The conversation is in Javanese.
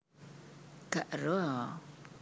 Gak eruh a